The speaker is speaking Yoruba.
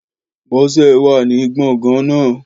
Bọ́sẹ̀ wà ní gbọ̀ngàn naa